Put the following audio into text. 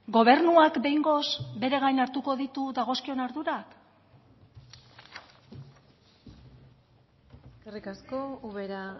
gobernuak behingoz bere gain hartuko ditu dagozkion ardurak eskerrik asko ubera